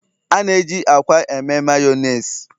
A na-eji akwa eme Mayonezi